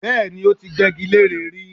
Bẹ́ẹ̀ni, ó ti gbẹ́gi leré rí